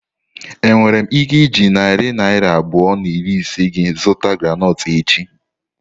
Enwere m ike iji narị naira abụọ na iri ise gị zụta groundnut echi?